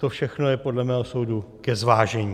To všechno je podle mého soudu ke zvážení.